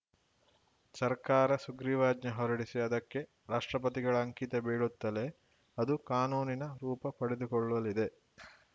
ಸರ್ಕಾರ ಸುಗ್ರೀವಾಜ್ಞೆ ಹೊರಡಿಸಿ ಅದಕ್ಕೆ ರಾಷ್ಟ್ರಪತಿಗಳ ಅಂಕಿತ ಬೀಳುತ್ತಲೇ ಅದು ಕಾನೂನಿನ ರೂಪ ಪಡೆದುಕೊಳ್ಳಲಿದೆ